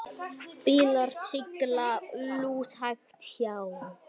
Bílar sigla lúshægt hjá.